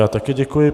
Já taky děkuji.